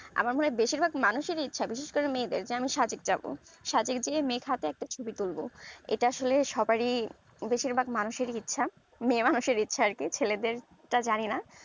আমার মনে হয় বেশিরভাগ মানুষ এর ই এক বিশেষ করে মেয়েদের যে আমি সাজিক যাবো সাজিক গিয়ে মেঘ হাতে একটা ছবি তুলবো এটা আসলে সবাড়ির বেশিরভাগ মানুষ এর ই ইচ্ছা মেয়ে মানুষ এর ইচ্ছা আর কি ছেলেদের জানিনা